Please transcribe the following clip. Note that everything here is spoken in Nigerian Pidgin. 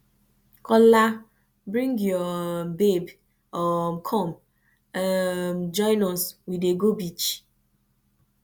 kola bring your um babe um come um join us we dey go beach